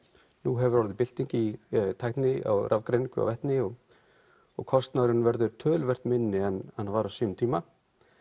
nú hafi orðið bylting í tækni á rafgreiningu á vetni og og kostnaðurinn verður töluvert minni en hann var á sínum tíma